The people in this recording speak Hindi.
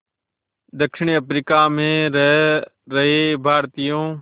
दक्षिण अफ्रीका में रह रहे भारतीयों